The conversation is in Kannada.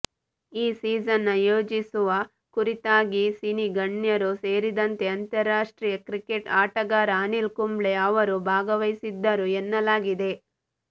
ಈ ಸೀಸನ್ ಯೋಜಿಸುವ ಕುರಿತಾಗಿ ಸಿನಿ ಗಣ್ಯರು ಸೇರಿದಂತೆ ಅಂತರಾಷ್ಟ್ರಿಯ ಕ್ರಿಕೇಟ್ ಆಟಗಾರ ಅನಿಲ್ ಕುಂಬ್ಳೆ ಅವರು ಭಾಗವಹಿಸಿದ್ದರು ಎನ್ನಲಾಗಿದೆ